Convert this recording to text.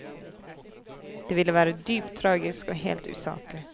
Det ville være dypt tragisk og helt usaklig.